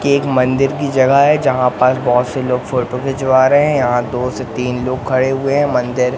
ये एक मंदिर की जगह है। जहां पर बहोत से लोग फोटो खिचवा रहे हैं। यहां दो से तीन लोग खड़े हुए है। मंदिर--